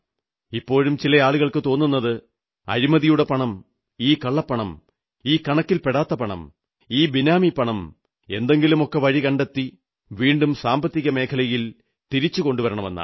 ഇപ്പോഴും ചില ആളുകൾക്കു തോന്നുന്നത് അഴിമതിയുടെ പണം ഈ കള്ളപ്പണം ഈ കണക്കിൽപെടാത്ത പണം ഈ ബിനാമി പണം എന്തെങ്കിലുമൊക്കെ വഴികണ്ടെത്തി വീണ്ടും സാമ്പത്തികമേഖലയിൽ കൊണ്ടുവരാമെന്നാണ്